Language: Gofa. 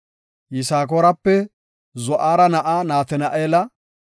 Yisakoorape Zu7ara na7aa Natina7eela;